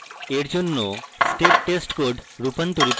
we জন্য step test code রূপান্তরিত করব